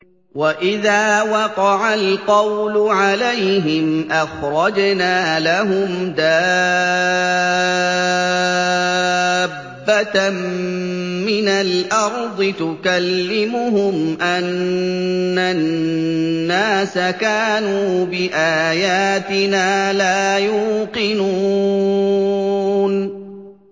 ۞ وَإِذَا وَقَعَ الْقَوْلُ عَلَيْهِمْ أَخْرَجْنَا لَهُمْ دَابَّةً مِّنَ الْأَرْضِ تُكَلِّمُهُمْ أَنَّ النَّاسَ كَانُوا بِآيَاتِنَا لَا يُوقِنُونَ